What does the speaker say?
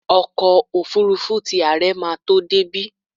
Ọkọ́ òfurufú ti àre ma tó débí.